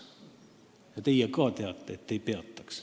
Ja ka teie teate, et ei peatanuks.